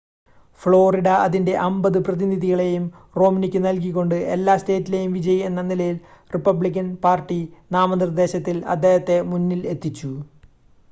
Florida അതിൻ്റെ അമ്പത് പ്രതിനിധികളെയും റോംനിക്ക് നൽകിക്കൊണ്ട് എല്ലാ സ്റ്റേറ്റിലെയും വിജയി എന്ന നിലയിൽ റിപ്പബ്ലിക്കൻ പാർട്ടി നാമനിർദ്ദേശത്തിൽ അദ്ദേഹത്തെ മുന്നിൽ എത്തിച്ചു